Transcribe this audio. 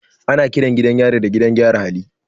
Ana kiran gidan yari gidan gyaran hali.